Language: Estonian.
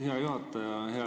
Hea juhataja!